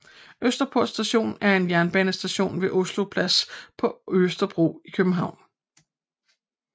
Østerport Station er en jernbanestation ved Oslo Plads på Østerbro i København